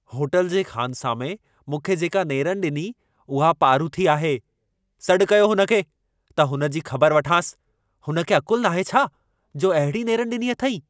Hotel जे ख़ानसामे मूंखे जेका नेरनि ॾिनी, उहा पारूथी आहे। सॾ कयो हुन खे, त हुन जी ख़बर वठांसि। हुन खे अक़ुल नाहे छा जो अहिड़ी नेरनि ॾिनी अथईं।